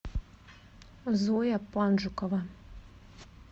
зоя панжукова